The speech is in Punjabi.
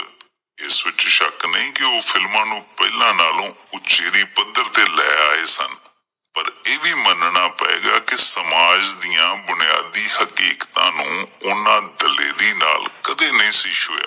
ਇਸ ਵਿੱਚ ਸ਼ੱਕ ਨਹੀਂ ਸੀ ਕਿ ਉਹ films ਨੂੰ ਪਹਿਲਾਂ ਨਾਲੋਂ ਉੱਚੇਰੇ ਪੱਧਰ ਤੇ ਲੈ ਆਏ ਸਨ। ਪਰ ਇਹ ਵੀ ਮੰਨਣਾ ਪਏਗਾ ਕਿ ਸਮਾਜ ਦੀਆਂ ਬੁਨਿਆਦੀ ਹਕੀਕਤਾਂ ਨੂੰ ਉਹਨਾਂ ਦਲੇਰੀ ਨਾਲ ਕਦੇਂ ਨਹੀਂ ਸੀ ਛੂਇਆਂ ।